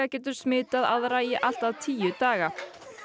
getur smitað aðra í allt að tíu daga